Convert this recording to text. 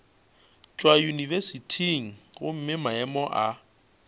tšwa yunibesithing gomme maemo a